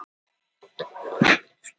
Helstu námurnar eru á Spáni og Ítalíu.